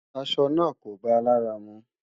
Aṣọ̀ náà kò báa làrà mú.